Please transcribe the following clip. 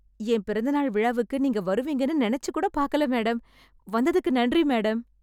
என் பிறந்த நாள் விழாவுக்கு நீங்க வருவீங்கன்னு நெனச்சுகூட பாக்கல மேடம்... வந்ததுக்கு நன்றி மேடம்.